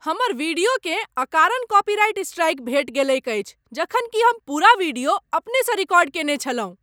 हमर वीडियोकेँ अकारण कॉपीराइट स्ट्राइक भेटि गेलैक अछि। जखन कि हम पूरा वीडियो अपनेसँ रिकॉर्ड कयने छलहुँ।